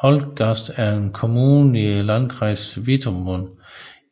Holtgast er en kommune i Landkreis Wittmund